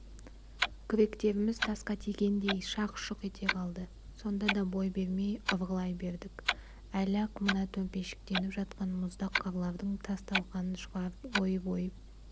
күректеріміз тасқа тигендей шақ-шұқ ете қалды сонда да бой бермей ұрғылай бердік әлі-ақ мына төмпешіктеніп жатқан мұздақ қарлардың тас-талқанын шығарып ойып-ойып